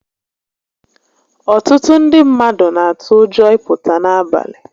Ọtụtụ ndị mmadụ n'atụ ụjọ ị pụta n'abalị